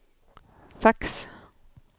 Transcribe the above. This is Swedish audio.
fax